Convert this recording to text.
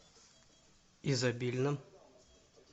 изобильном